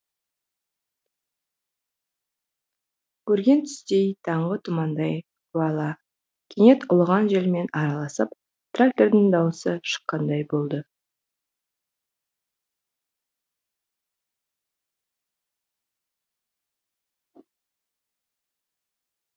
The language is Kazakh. көрген түстей таңғы тұмандай уәла кенет ұлыған желмен араласып трактордың дауысы шыққандай болды